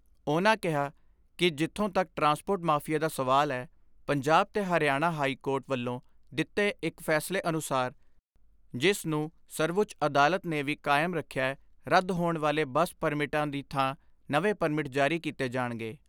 ਉਨ੍ਹਾਂ ਕਿਹਾ ਕਿ ਜਿੱਥੋਂ ਤੱਕ ਟਰਾਂਸਪੋਰਟ ਮਾਫੀਏ ਦਾ ਸਵਾਲ ਐ ਪੰਜਾਬ ਤੇ ਹਰਿਆਣਾ ਹਾਈਕੋਰਟ ਵੱਲੋਂ ਦਿੱਤੇ ਇਕ ਫੈਸਲੇ ਅਨੁਸਾਰ ਜਿਸ ਨੂੰ ਸਰਵਉੱਚ ਅਦਾਤਲ ਨੇ ਵੀ ਕਾਇਮ ਰਖਿਐ ਰੱਦ ਹੋਣ ਵਾਲੇ ਬੱਸ ਪਰਮਿਟਾਂ ਦੀ ਥਾਂ ਨਵੇਂ ਪਰਮਿਟ ਜਾਰੀ ਕੀਤੇ ਜਾਣਗੇ।